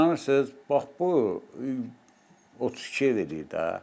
İnanırsız, bax bu 32 ev eləyir də.